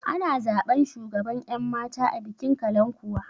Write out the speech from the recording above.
Ana zaɓan shugaban ƴan mata a bikin kalankuwa